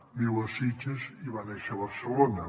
viu a sitges i va néixer a barcelona